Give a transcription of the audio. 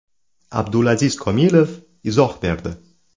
Abdulaziz Komilov izoh berdi.